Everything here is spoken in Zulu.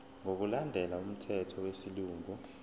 ngokulandela umthetho wesilungu